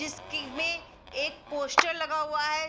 जिसके में एक पोस्टर लगा हुआ है।